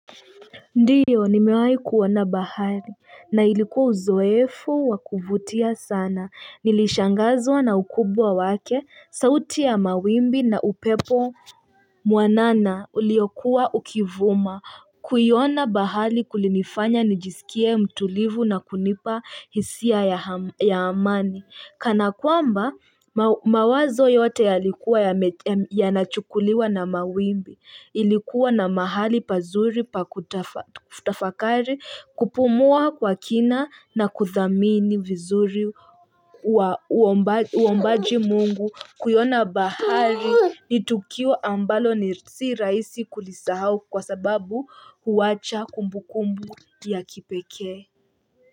Ndiyo, nimewahi kuona bahari, na ilikuwa uzoefu wa kuvutia sana. Nilishangazwa na ukubwa wake, sauti ya mawimbi na upepo mwanana uliokuwa ukivuma. Kuiona bahari kulinifanya nijisikie mtulivu na kunipa hisia ya amani. Kana kwamba mawazo yote yalikuwa yanachukuliwa na mawimbi. Ilikuwa na mahali pazuri pa kutafakari, kupumua kwa kina na kuthamini vizuri uombaji mungu kuiona bahari ni tukio ambalo si rahisi kulisahau kwa sababu huwacha kumbukumbu ya kipekee.